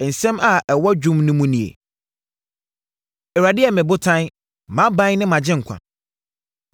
Nsɛm a ɛwɔ dwom no mu nie: “ Awurade yɛ me botan, mʼaban ne mʼagyenkwa;